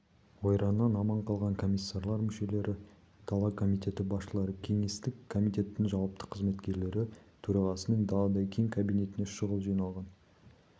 ойраннан аман қалған комиссарлар мүшелері дала комитеті басшылары кеңестік комитеттің жауапты қызметкерлері төрағасының даладай кең кабинетіне шұғыл жиналған